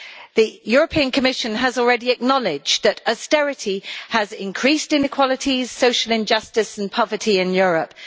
The European Commission has already acknowledged that austerity has increased inequalities, social injustice and poverty in Europe.